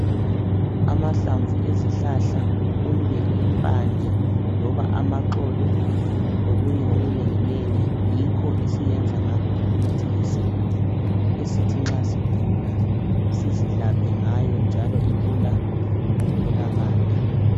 Amahlamvu ezihlahla, kumbe impande, loba amaxolo, lokunye okunenginengi, yikho esiyenza ngakho imithi yesintu esithi nxa sigula sizilaphe ngayo njalo ilula ukutholakala.